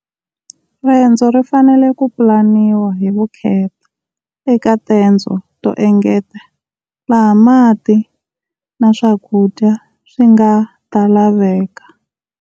Rendzo ri fanele ku pulaniwa hi vukheta eka tendzo to engeta laha mati na swakudya swi nga ta laveka.